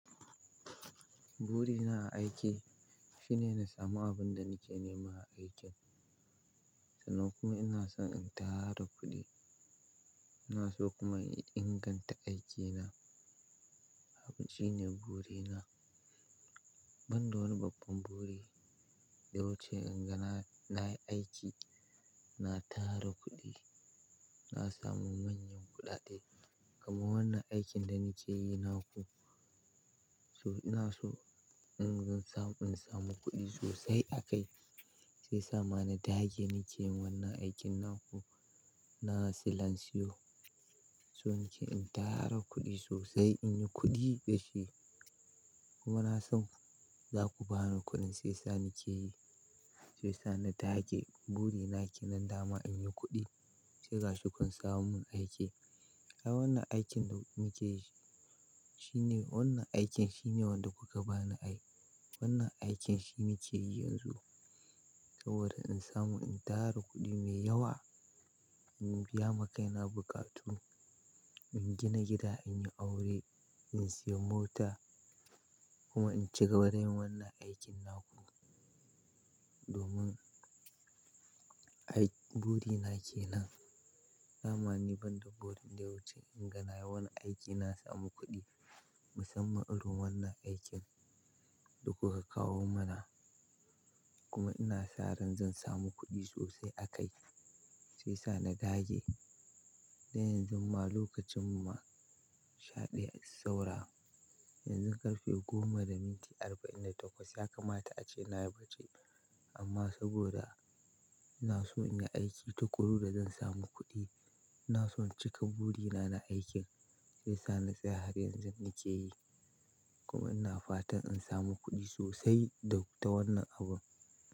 Burina a aiki shine na samu abin da nake nema a aikin. Sannan kuma ina son in tara kuɗi. Ina so kuma in inganta aikina. Wannan shine burina. Ban da wani babban buri da wuce inga na, na yi aiki, na tara kuɗi, na samu manyan kuɗaɗe. Kamar wannan aikin da nake yi naku, so-- ina so in gan mun samu kuɗi sosai a kai. Shi yasa ma nadage nake yin wannan aikin naku. Na salansiyo So nake in tara kuɗi sosai, in yi kuɗi da shi. Kuma ina son za ku bani kuɗin shiyasa nake yi. Shiyasa na dage burina kenan dama in yi kuɗi. Sai gashi kun samo mun aiki. Ai wannan aikin da muke yi, shine wannan aikin shine wanda kuka bani ai. Wannan aikin shi nake yi yanzu. Saboda in samu in tara kuɗi mai yawa, in biya makaina buƙatu. In gina gida, in yi aure, in siyi mota kuma in cigaba dayin wannan aikin naku. Domin, aikin burina kenan. Da ma ni ban da buri da wuce inga na yi wannan aiki na samu kuɗi. Musamman irin wannan aikin da kuka kawo mana. Kuma ina sa ran zan samu kuɗi sosai a kai. Sai sa na dage. Don yanzu ma lokacin mu shaɗaya saura. Yanzu ƙarfe goma da minti arba'in da takwas ya kamata ace na yi bacci. Amma saboda ina so in yi aiki tukuru da zan samu kuɗi, ina so in cika buri na, na aikin. Shiyasa na tsaya har yanzu nake yi. Kuma ina fatan in samu kuɗi sosai da, ta wannan abun.